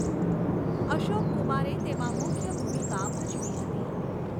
અશોક કુમારે તેમાં મુખ્ય ભૂમિકા ભજવી હતી.